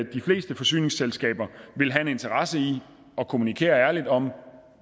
de fleste forsyningsselskaber vil have en interesse i at kommunikere ærligt om